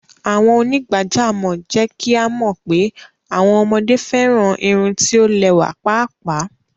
Awọn onígbàjàmọ̀ jẹ́ kí a mọ pé awọn ọmọde fẹ́ran irùn tí o lẹwa páápáá.